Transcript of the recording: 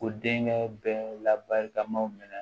Ko denkɛ bɛ labarikamaw minɛ